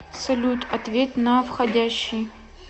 салют ответь на входящий